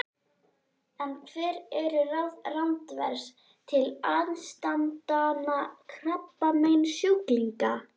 En hver eru ráð Randvers til aðstandanda krabbameinssjúklinga?